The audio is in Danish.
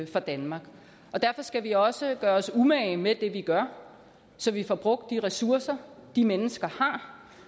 for danmark derfor skal vi også gøre os umage med det vi gør så vi får brugt de ressourcer de mennesker har